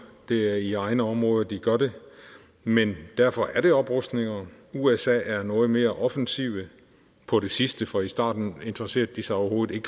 det er i egne områder de gør det men derfor er det oprustninger usa er noget mere offensive på det sidste for i starten interesserede de sig overhovedet